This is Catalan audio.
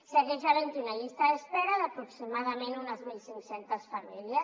segueix havent hi una llista d’espera d’aproximadament unes mil cinc cents famílies